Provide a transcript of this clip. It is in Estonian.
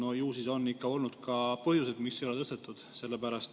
No ju siis on ikka olnud põhjuseid, mis ei ole tõstetud.